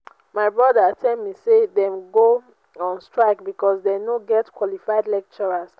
my broda tell me say dem go on strike because dey no get qualified lecturers